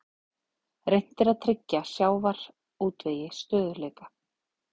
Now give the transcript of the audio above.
Reynt að tryggja sjávarútvegi stöðugleika